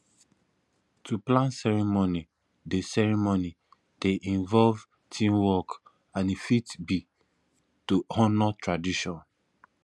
to plan ceremony dey ceremony dey involve teamwork and e fit be to honour traditions